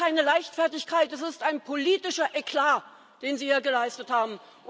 Es ist keine Leichtfertigkeit, es ist ein politischer Eklat, den Sie sich hier geleistet haben.